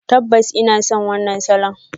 Tabbas ina son wannan salon.